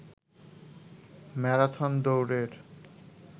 marathon দৌড়ের